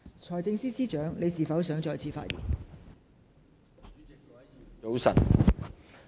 財政司司長，你是否想再次發言？